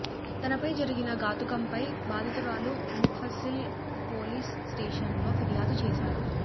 తనపై జరిగిన ఘాతుకంపై బాధితురాలు ముఫసిల్ పోలీస్ స్టేషన్లో ఫిర్యాదు చేశారు